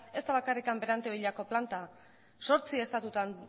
ez da bakarrik berantevillako planta zortzi estatutan